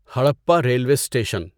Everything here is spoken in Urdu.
Harappa railway station